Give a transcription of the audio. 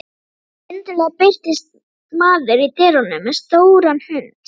Skyndilega birtist maður í dyrunum með stóran hund.